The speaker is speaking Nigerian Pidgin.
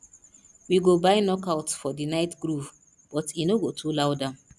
we go buy knockouts for the night groove but e no go too loud am